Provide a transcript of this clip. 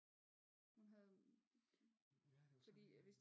Hun havde fordi at hvis